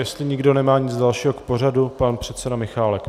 Jestli nikdo nemá nic dalšího k pořadu - pan předseda Michálek.